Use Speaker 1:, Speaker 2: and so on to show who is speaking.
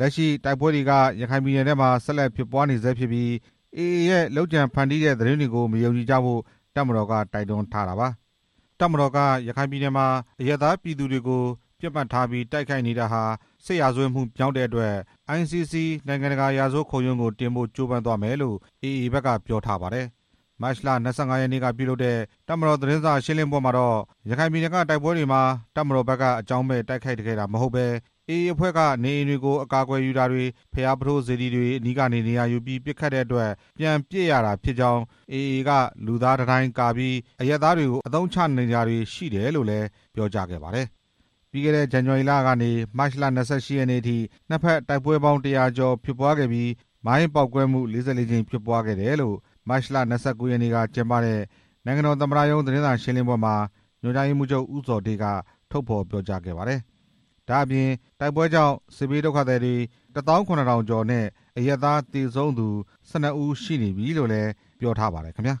Speaker 1: လက်ရှိတိုက်ပွဲတွေက ရခိုင်ပြည်နယ်ထဲမှာ ဆက်လက်ဖြစ်ပွားနေဆဲဖြစ်ပြီး AA ရဲ့ လုပ်ကြံဖန်တီးတဲ့သတင်းတွေကို မယုံကြည်ဖို့ တပ်မတော်ဖက်က တိုက်တွန်းထားပါတယ်။ တပ်မတော်က ရခိုင်ပြည်နယ်မှာ အရပ်သားပြည်သူတွေကို ပစ်မှတ်ထားပြီး တိုက်ခိုက်နေတာဟာ စစ်ရာဇဝတ်မှုမြောက်တဲ့အတွက် ICC နိုင်ငံတကာ ရာဇဝတ်ခုံရုံးကို တင်ဖို့ကြိုးပမ်းသွားမယ်လို့ AA က ပြောထားပါတယ်။ မတ်လ ၂၅ ရက်နေ့က ပြုလုပ်တဲ့ တပ်မတော် သတင်းစာရှင်းလင်းပွဲမှာတော့ ရခိုင်ပြည်နယ်က တိုက်ပွဲတွေမှာ တပ်မတော်ဘက်က အကြောင်းမဲ့ တိုက်ခိုက်ခဲ့တာမဟုတ်ပဲ AA အဖွဲ့က နေအိမ်တွေကို အကာအကွယ်ယူတာတွေ၊ ဘုရားပုထိုးစေတီတွေ အနီးကနေ နေရာယူပြီး ပစ်ခတ်တဲ့အတွက် ပြန်ပစ်ရတာဖြစ်ကြောင်း၊ AA က လူသားတံတိုင်းကာပြီး အရပ်သားတွေကို အသုံးချနေတာတွေ ရှိတယ်လို့ ပြောကြားခဲ့ပါတယ်။ ပြီးခဲ့တဲ့ ဇန်နဝါရီလကနေ မတ်လ ၂၈ ရက်နေ့အထိ နှစ်ဖက်တိုက်ပွဲပေါင်း တစ်ရာကျော် ဖြစ်ပွားခဲ့ပြီး မိုင်းပေါက်ကွဲမှု ၄၄ ကြိမ် ဖြစ်ပွားခဲ့တယ်လို့ မတ်လ ၂၉ ရက်နေ့က ကျင်းပတဲ့ နိုင်ငံတော် သမ္မတရုံး သတင်းစာရှင်းလင်းပွဲမှာ ညွှန်ကြားရေးမှူးချုပ် ဦးဇော်ဌေးက ထုတ်ဖော်ပြောကြားခဲ့ပါတယ်။ ဒါ့အပြင် တိုက်ပွဲကြောင့် စစ်ဘေးဒုက္ခသည် ၁၇၀၀၀ ကျော်နဲ့ အရပ်သား သေဆုံးသူ ၁၂ ဦး ရှိနေပြီလို့လည်း ပြောထားပါတယ်ခင်ဗျာ။